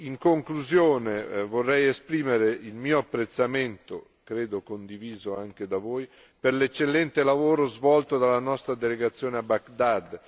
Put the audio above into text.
In conclusione, vorrei esprimere il mio apprezzamento, credo condiviso anche da voi, per l'eccellente lavoro svolto dalla nostra delegazione a Baghdad.